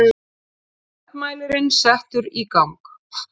Gjaldmælirinn settur í gang.